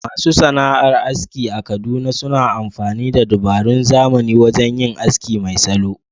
Masu sana’ar aski a Kaduna suna amfani da dabarun zamani wajen yin aski mai salo.